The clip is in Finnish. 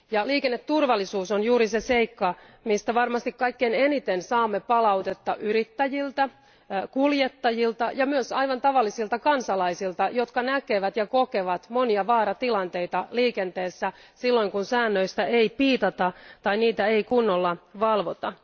Liikenneturvallisuus on juuri se seikka, mistä varmasti kaikkein eniten saamme palautetta yrittäjiltä, kuljettajilta ja myös aivan tavallisilta kansalaisilta, jotka näkevät ja kokevat monia vaaratilanteita liikenteessä, silloin kun säännöistä ei piitata tai niitä ei kunnolla valvota.